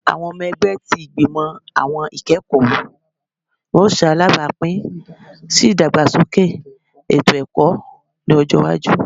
Awọn ọmọ ẹgbẹ ti Igbimọ Awọn Ikẹkọ yoo ṣe alabapin si idagbasoke eto-ẹkọ ni ọjọ iwaju